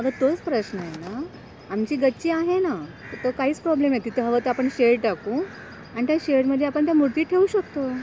अगं तोच प्रश्नय ना? आमची गच्ची आहे ना तिथे काहीच प्रॉब्लेम नाही हवं तर आपण शेड टाकू आणि त्या शेडमध्ये आपण त्या मूर्ती ठेवू शकतो.